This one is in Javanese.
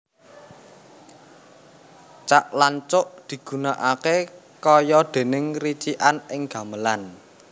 Cak lan cuk digunakaké kaya déné ricikan ing gamelan